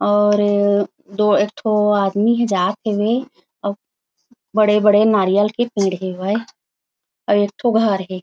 और ये एक ठो आदमी हे जात हवे अउ बड़े-बड़े नारियाल के पेड़ हवे अउ एक ठो घर हे।